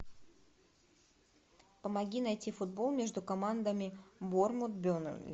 помоги найти футбол между командами борнмут бернли